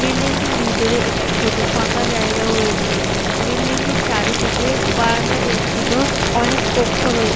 building টির ভিতরে একটি ছোট ফাঁকা জায়গা রয়েছে বিল্ডিং টির চারিদিকে বারান্দা বেষ্টিত অনেক কক্ষ রয়ে--